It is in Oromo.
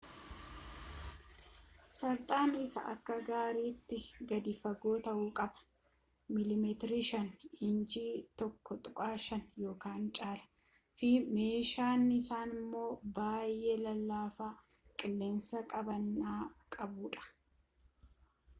sarxaan isaa akka gaariitti gadi fagoo ta’uu qaba mm 5 inchii 1/5 ykn caalaa fi meeshaan isaamoo baayee lallafaa qilleensa qabana’aa qabuu dha